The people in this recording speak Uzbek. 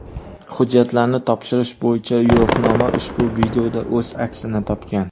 Hujjatlarni topshirish bo‘yicha yo‘riqnoma ushbu videoda o‘z aksini topgan.